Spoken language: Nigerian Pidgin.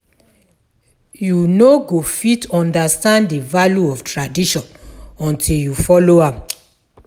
You no go fit understand the value of tradition until you follow am.